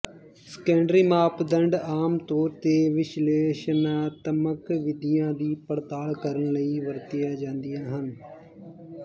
secondary ਮਾਪਦੰਡ ਆਮ ਤੌਰ ਤੇ ਵਿਸ਼ਲੇਸ਼ਣਾਤਮਕ ਵਿਧੀਆਂ ਦੀ ਪੜਤਾਲ ਕਰਨ ਲਈ ਵਰਤੀਆਂ ਜਾਂਦੀਆਂ ਹਨ